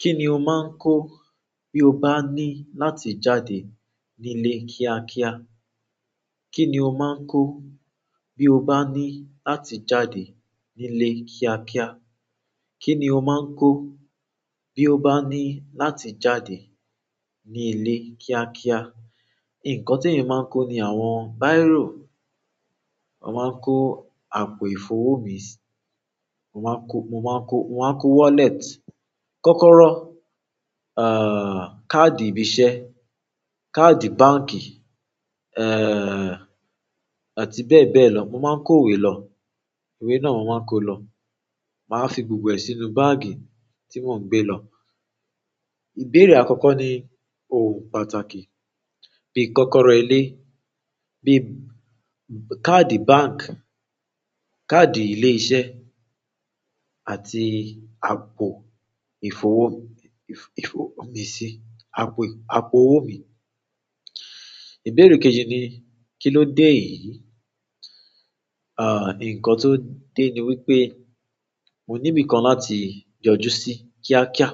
Kí ni o máa ń kó bí o bá ní láti jáde nílé kíákíá? Kí ni o máa ń kó bí o bá ní láti jáde nílé kíákíá? Kí ni o máa ń kó bí o bá ní láti jáde nílé kíákíá? Nǹkan temi máa ń kó ni àwọn bíró, mo máa ń kó àpò ìfowó mi sí, mo máa kó, mo máa kó, mo máa kó wallet. Kọ́kọ́rọ́, káàdì ibi iṣẹ́, káàdì báǹkì, àti bẹ́ẹ̀ bẹ́ẹ̀ lọ. Mo máa ń kó ìwé lọ. Ìwé náà mo máa ń kó lọ. Màá fi gbogbo ẹ̀ sínú báàgì tí mò ń gbé lọ. Ìbéèrè àkọ́kọ́ ni òun pàtàkì. Bí i kọ́kọ́rọ́ ilé, bí i káàdì báǹkì, káàdì ilé iṣẹ́ àti àpò ìfowó mi, ìfowó mi sí, àpò, àpò owó mi. Ìbéèrè kejì ni kí ló dé yìí? À, nǹkan tó dé ni wípé mo níbi kan láti yọjú sí kíákíá.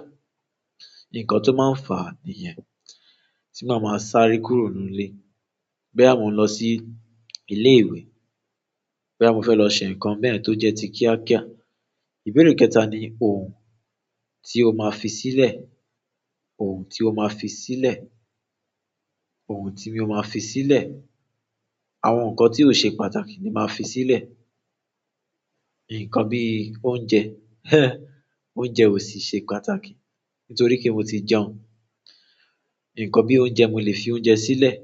Nǹkan tó máa ń fà nìyẹn tí màá máa sáré kúrò nínú ilé. Boyà mo n lọ sí ilé ìwé, boyà mo fẹ́ lọ ṣe nǹkan bẹ̀yẹ̀n tó jẹ́ ti kíákíá. Ibere kẹta ni ohun ti o maa fi sile òun tí o máa fi sílẹ̀. Òhun tí mo máa fi sílẹ̀. Àwọn nǹkan tí ò ṣe pàtàkì ni màá fi sílẹ̀. Nǹkan bíi oúnjẹ, oúnjẹ ò sì ṣe pàtàkì nítorí pé mo ti jẹun. Nǹkan bíi oúnjẹ, mo lè fi oúnjẹ sílẹ̀.